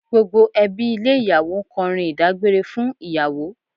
Gbogbo ẹbí ilé ìyàwó ń kọrin ìdágbére fún ìyàwó